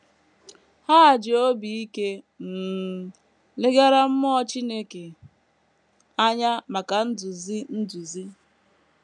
Ha ji obi ike um legara mmụọ Chineke anya maka nduzi nduzi.